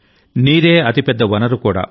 నీరే అతి పెద్ద వనరు కూడా